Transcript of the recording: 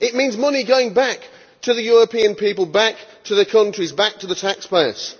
It means money going back to the European people, back to the countries, back to the taxpayers.